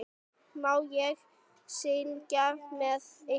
Má ég syngja með ykkur?